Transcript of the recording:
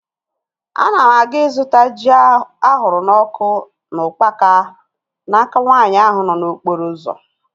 Ana m aga ịzụta ji ahụrụ n'ọkụ na ukpaka n'aka nwaanyị ahụ nọ n'okporo ụzọ